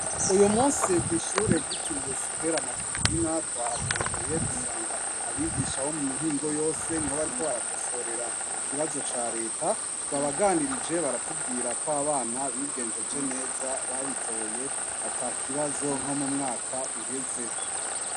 Uyu munsi ku ishure gitiriwe sitere matutina twahagendeye dusanga abigisha bo mu mihingo yose niho bariko barakosorera ikibazo ca reta twabaganirije baratubwira ko abana bigenjeje neza babitoye ata kibazo nko mumwaka uheze.